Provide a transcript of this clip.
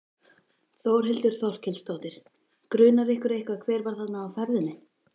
Þórhildur Þorkelsdóttir: Grunar ykkur eitthvað hver var þarna á ferðinni?